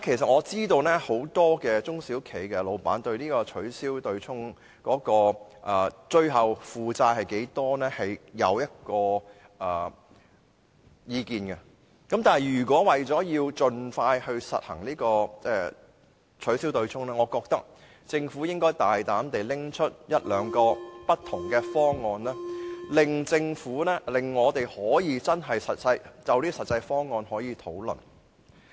我知道現時很多中小企的僱主，對於他們在取消對沖之後的負擔多少存有意見，但為了盡快實行取消對沖，我認為政府應大膽提出一兩個不同的方案，讓我們可以就實際方案進行討論。